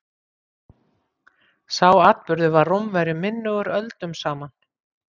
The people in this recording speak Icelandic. sá atburður var rómverjum minnugur öldum saman